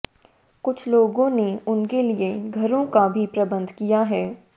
कुछ लोगों ने उनके लिए घरों का भी प्रबंध किया है